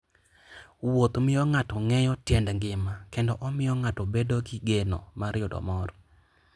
Wuoth miyo ng'ato ng'eyo tiend ngima kendo omiyo ng'ato bedo gi geno mar yudo mor.